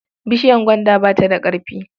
Bishiyar gwanda ba ta da ƙarfi.